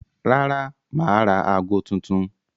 Rárá, mà á ra aago tuntun.